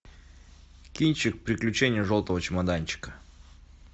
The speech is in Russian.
кинчик приключения желтого чемоданчика